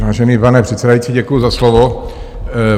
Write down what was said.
Vážený pane předsedající, děkuji za slovo.